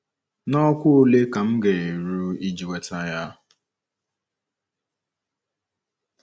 N’ọkwá ole ka m ga - eru iji nweta ya?